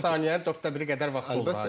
Saniyənin dörddə biri qədər vaxt olur.